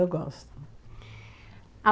Eu gosto.